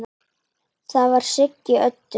Það var Siggi Öddu.